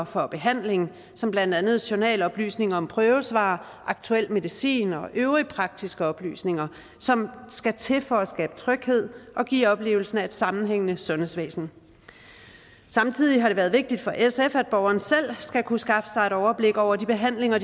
for behandlingen som blandt andet journaloplysninger om prøvesvar og aktuel medicin og øvrige praktiske oplysninger som skal til for at skabe tryghed og give oplevelsen af et sammenhængende sundhedsvæsen samtidig har det været vigtigt for sf at borgeren selv skal kunne skaffe sig et overblik over de behandlinger